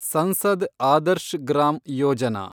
Sansad Adarsh Gram Yojana